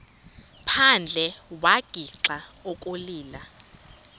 phandle wagixa ukulila